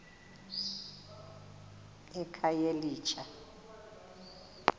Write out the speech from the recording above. ekhayelitsha